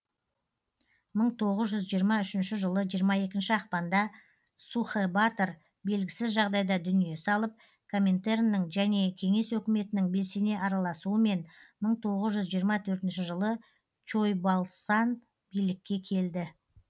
мың тоғыз жүз жиырма үшінші жылы жиырма екінші ақпанда сухэбатор белгісіз жағдайда дүние салып коминтерннің және кеңес өкіметінің белсене араласуымен мың тоғыз жүз жиырма төртінші жылы чойбалсан билікке келді